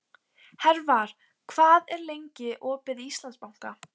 Hervar, hvað er lengi opið í Íslandsbanka?